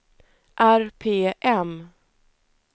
RPM